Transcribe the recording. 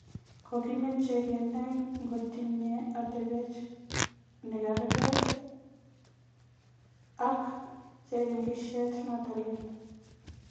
Kokimeche kenai kotkotinye atebet ne kargei ak cheringisyet noto leel